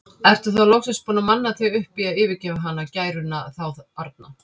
Ertu þá loksins búinn að manna þig upp í að yfirgefa hana, gæruna þá arna?